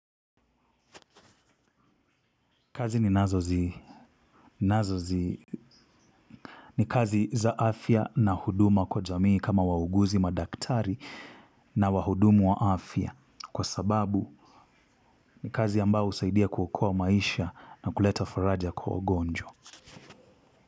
Kazi ninazozi, nazozi, ni kazi za afya na huduma kwa jamii kama wauguzi madaktari na wahudumu wa afya. Kwa sababu, ni kazi ambayo husaidia kuokoa maisha na kuleta faraja kwa ugonjwa.